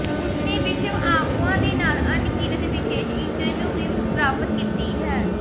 ਉਸਨੇ ਵਿਸ਼ਵ ਆਗੂਆਂ ਦੇ ਨਾਲ ਅਣਗਿਣਤ ਵਿਸ਼ੇਸ਼ ਇੰਟਰਵਿਊ ਵੀ ਪ੍ਰਾਪਤ ਕੀਤੀ ਹੈ